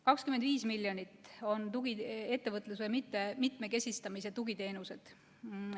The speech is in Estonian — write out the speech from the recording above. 25 miljonit on ettevõtluse mitmekesistamise tugiteenused.